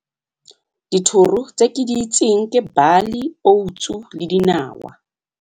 Dithoro tse ke di itseng ke bali, oats-u le dinawa.